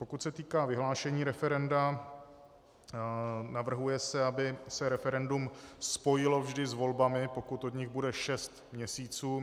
Pokud se týká vyhlášení referenda, navrhuje se, aby se referendum spojilo vždy s volbami, pokud od nich bude šest měsíců.